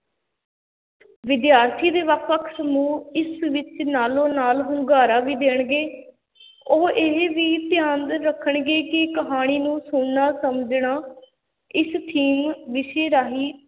ਵਿਦਿਆਰਥੀ ਦੇ ਵੱਖ-ਵੱਖ ਸਮੂਹ ਇਸ ਵਿੱਚ ਨਾਲੋਂ-ਨਾਲ ਹੁੰਗਾਰਾ ਵੀ ਦੇਣਗੇ ਉਹ ਇਹ ਵੀ ਧਿਆਨ ਰੱਖਣਗੇ ਕਿ ਕਹਾਣੀ ਨੂੰ ਸੁਣਨਾ ਸਮਝਣਾ ਇਸ ਦੇ theme ਵਿਸ਼ੇ ਰਾਹੀਂ